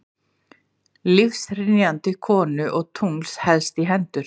Lífshrynjandi konu og tungls helst í hendur.